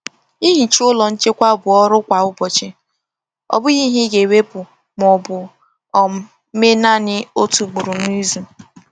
Ihicha ụlọ nchekwa bụ ọrụ kwa ụbọchị—ọ bụghị ihe ị ga-ewepụ ma ọ bụ um mee naanị otu ugboro n’izu.